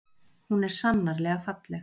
Hún er sannarlega falleg.